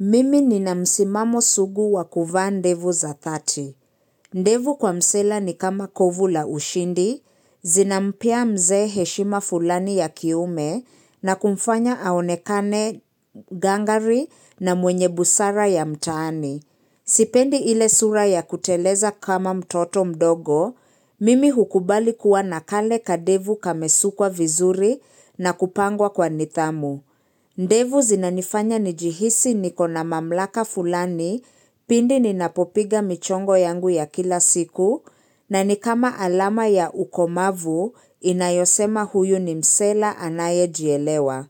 Mimi nina msimamo sugu wa kuvaa ndevu za thati. Ndevu kwa msela ni kama kovu la ushindi, zinampea mzee heshima fulani ya kiume na kumfanya aonekane gangari na mwenye busara ya mtaani. Sipendi ile sura ya kuteleza kama mtoto mdogo, mimi hukubali kuwa na kale kadevu kamesukwa vizuri na kupangwa kwa nidhamu. Ndevu zinanifanya njihisi nikona mamlaka fulani pindi ninapopiga michongo yangu ya kila siku na nikama alama ya ukomavu inayosema huyu ni msela anaye jielewa.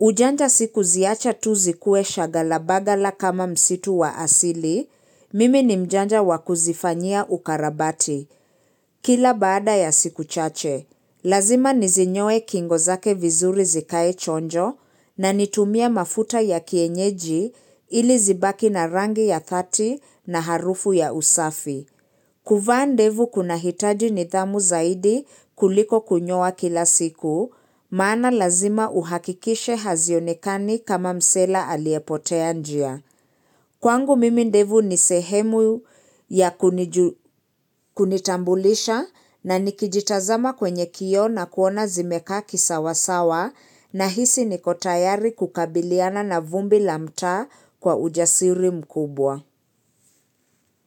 Ujanja sikuziacha tu zikue shaghala baghala kama msitu wa asili, mimi ni mjanja wakuzifanyia ukarabati, kila baada ya siku chache. Lazima nizinyoe kingo zake vizuri zikae chonjo na nitumie mafuta ya kienyeji ili zibaki na rangi ya thati na harufu ya usafi. Kuvaa ndevu kuna hitaji nidhamu zaidi kuliko kunyoa kila siku, maana lazima uhakikishe hazionikani kama msela aliyepotea njia. Kwangu mimi ndevu ni sehemu ya kunitambulisha na nikijitazama kwenye kioo na kuona zimekaa kisawasawa nahisi niko tayari kukabiliana na vumbi la mtaa kwa ujasiri mkubwa.